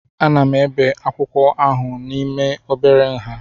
Ana m ebe akwụkwọ ahụ n'ime obere nha